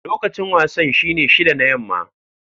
Lokacin wasan shine shida na yamma.